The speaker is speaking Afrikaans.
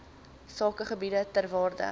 sakegebiede ter waarde